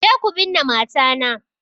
Je ku binne mata na!